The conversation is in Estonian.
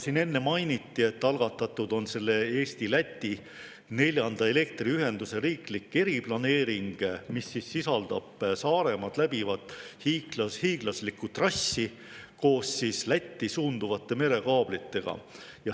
Siin enne mainiti, et algatatud on Eesti–Läti neljanda elektriühenduse riiklik eriplaneering, mis sisaldab Saaremaad läbivat hiiglaslikku trassi koos Lätti suunduvate merekaablitega.